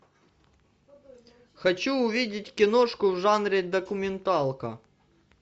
хочу увидеть киношку в жанре документалка